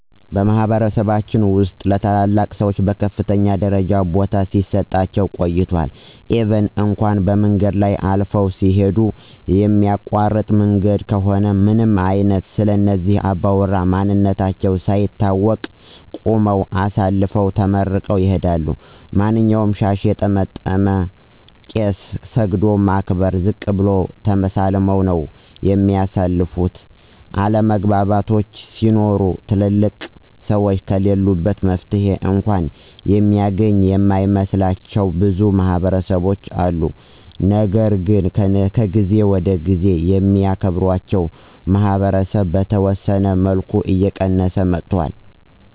በማህበረሰባችን ውስጥ ለታላላቅ ሰዎች በከፍተኛ ደረጃ ቦታ ሲሰጣቸው ቆይቷል ኢቭን እንኳ በመንገድ ላይ አልፈው ሲሂዱ የሚያቋርጡ መንገዶች ከሆኑ ምንም አይነት ስለእነዚህ አባውራ ማንነታቸው ሳይታወቅ ቁመው አሳልፈው ተመርቀው ይሂዳሉ። ማንኛውንም ሻሽ የጠመጠመ ቄስ ሰግዶ በማክበር ዝቅ ብሎ ተሳልመው ነው የሚያልፉት፤ አለመግባባቶች ሲኖሩ ትልልቅ ሰዎች ከለሉበት መፍትሔ እንኳ የሚገኝ የማይመስላቸው ብዙ ማህበረሰቦች አሉ። ነገር ግን ከጊዜ ወደ ጊዜ የሚያክራቸው ማህበረሰብ በተወሰነ መልኩ እየቀየሰ መጥቷል።